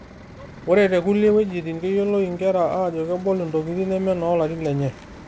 Ore te kullie wejitin, keyioloi inkera ajo kebol intokiting' neme noolarin lenye.